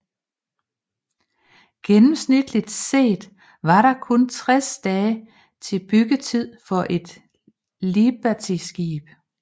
Gennemsnitligt set var der kun 60 dage i byggetid for et libertyskib